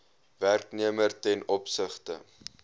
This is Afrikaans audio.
werknemer ten opsigte